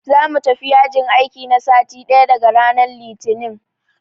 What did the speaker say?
Za mu tafi yajin aiki na sati ɗaya daga ranan Litinin.